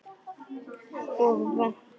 Og vont.